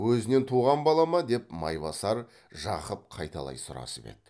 өзінен туған бала ма деп майбасар жақып қайталай сұрасып еді